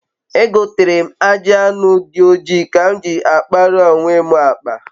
egotere m aji anu di oji ka m ji a kpaara onwe m akpa